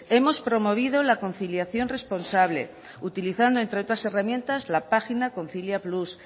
hemos promovido la conciliación responsable utilizando entre otras herramientas la página concilia plus